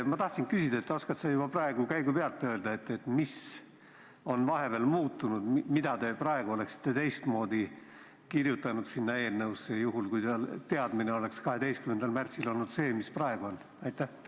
Ma tahtsin küsida, kas sa oskad juba praegu käigupealt öelda, mis on vahepeal muutunud ja mida te oleksite praegu teistmoodi kirjutanud sinna eelnõusse, juhul kui teadmine oleks 12. märtsil olnud see, mis on nüüd.